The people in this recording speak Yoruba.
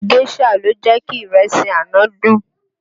Géșà ló jẹ́ kí ìrẹsì àná dùn